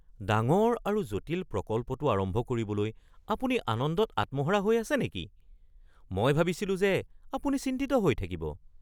ডাঙৰ আৰু জটিল প্ৰকল্পটো আৰম্ভ কৰিবলৈ আপুনি আনন্দত আত্মহাৰা হৈ আছে নেকি? মই ভাবিছিলো যে আপুনি চিন্তিত হৈ থাকিব।